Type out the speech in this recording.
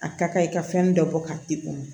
A ka kan i ka fɛn dɔ bɔ k'a di u ma